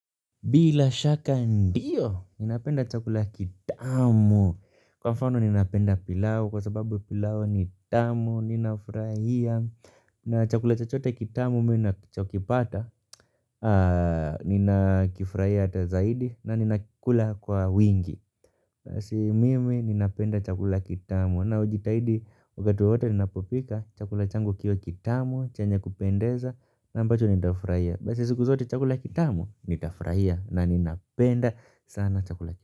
Bila shaka ndio, napenda chakula kitamu kwa mfano ninapenda pilau, kwa sababu pilau ni tamu, ninafurahia. Na chakula chochote kitamu, mimi ninachokipata, ninakifurahia hata zaidi, na ninakula kwa wingi. Basi mimi ninapenda chakula kitamu, na hujitahidi, wakati wote, ninapopika chakula changu kiwe kitamu, chenye kupendeza, na ambacho nitafurahia. Basi siku zote chakula kitamu nitafurahia na ninapenda sana chakula kitamu.